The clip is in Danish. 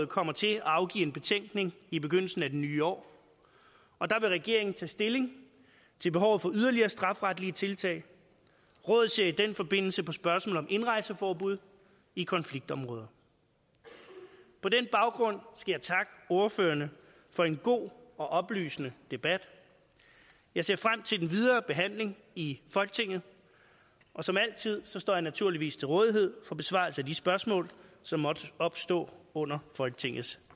kommer til at afgive en betænkning i begyndelsen af det nye år og der vil regeringen tage stilling til behovet for yderligere strafferetlige tiltag rådet ser i den forbindelse på spørgsmålet om indrejseforbud i konfliktområder på den baggrund skal jeg takke ordførerne for en god og oplysende debat jeg ser frem til den videre behandling i folketinget og som altid står jeg naturligvis til rådighed for besvarelse af de spørgsmål som måtte opstå under folketingets